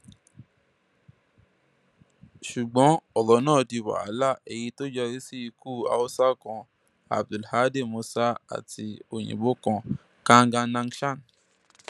ṣùgbọn ọrọ náà di wàhálà eléyìí tó yọrí sí ikú haúsá kan abdulhadi musa àti òyìnbó kan kanganangshan